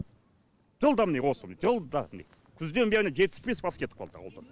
жылда міне осы жылда міне күзден бері жетпіс бес бас кетіп қалды ауылдан